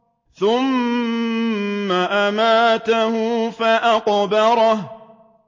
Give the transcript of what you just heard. ثُمَّ أَمَاتَهُ فَأَقْبَرَهُ